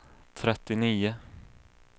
trettionio